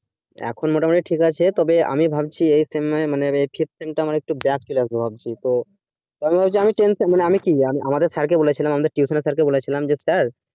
এখন মোটামোটি ঠিক আছে তবে আমি ভাবছি এই sem এ মানে এই fifth sem টা আমার একটু gap চলে আসবে ভাবছি তো তবে আমি ভাবছি আমি tention মানে আমি কি আমাদের sir কে বলেছিলাম আমাদের tuition এর sir কে বলেছিলাম যে sir